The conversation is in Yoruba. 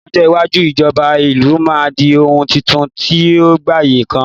ní ọjọ iwaju ijoba ìlú ma di oun Titun ti o gbaye kan